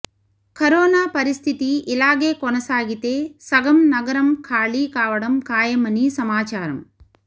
corona పరిస్థితి ఇలాగే కొనసాగితే సగం నగరం ఖాళీ కావడం ఖాయమని సమాచారం